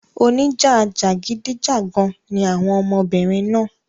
Oníjà jàgídíjàgan ni àwọn ọmọbìnrin náà.